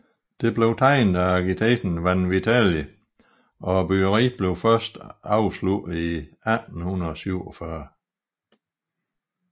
Det blev tegnet af arkitekten Vanvitelli og byggeriet blev først afsluttet i 1847